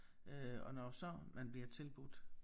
Øh og når så man bliver tilbudt